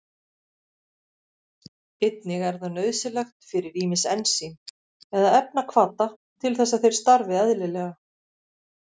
Einnig er það nauðsynlegt fyrir ýmis ensím eða efnahvata til þess að þeir starfi eðlilega.